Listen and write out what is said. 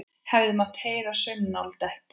Hefði mátt heyra saumnál detta.